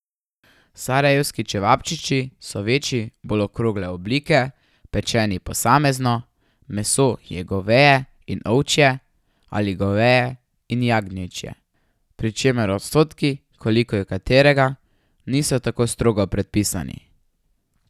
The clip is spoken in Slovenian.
Sarajevski čevapčiči so večji, bolj okrogle oblike, pečeni posamezno, meso je goveje in ovčje ali goveje in jagnječje, pri čemer odstotki, koliko je katerega, niso tako strogo predpisani.